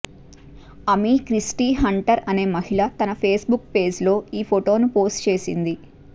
అమీ Christie Hunter అనే మహిళ తన ఫేస్బుక్ పేజ్లో ఈ ఫొటోను పోస్టు చేసింది